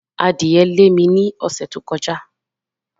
Adìẹ lé mi ní ọ̀sẹ̀ tó kọjá.